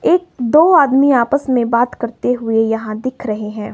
एक दो आदमी आपस में बात करते हुए यहां दिख रहे हैं।